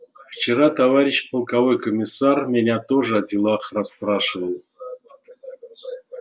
вчера товарищ полковой комиссар меня тоже о делах расспрашивал